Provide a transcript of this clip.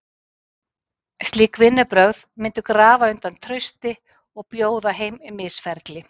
Slík vinnubrögð myndu grafa undan trausti og bjóða heim misferli.